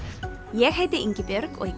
ég heiti Ingibjörg og í